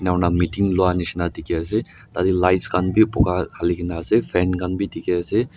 enaka kurina meeting luwa nshina teki ase tati lights kan be pukka halikina ase fan kanbe teki ase.